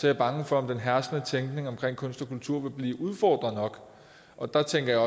jeg bange for om den herskende tænkning omkring kunst og kultur vil blive udfordret nok og der tænker